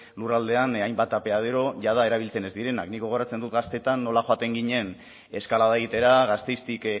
lurraldean hainbat apeadero jada erabiltzen ez direnak nik gogoratzen dut gaztetan nola joaten ginen eskalada egitera gasteiztik